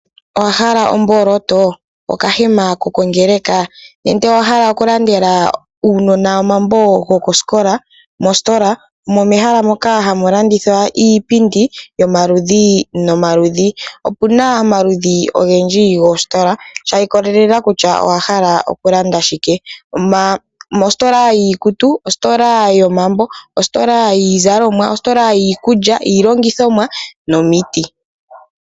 Owahala omboloto? Okahema kokongeleka? Nenge owahala oku landela uunona omambo gokosikola? mositola omo mehala moka hamu landithwa .Opuna omaludhi ogendji goositola shi ikolelela kutya owahala okulanda shike . Ositola yiikutu, ositola yomambo, ositola yiikulya ,iilongithomwa nomiti.